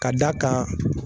K'a d'a kan